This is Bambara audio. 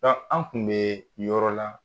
Ka an tun bɛ yɔrɔ la